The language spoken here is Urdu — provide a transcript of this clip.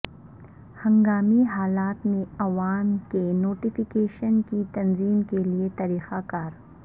ہنگامی حالات میں عوام کے نوٹیفکیشن کی تنظیم کے لئے طریقہ کار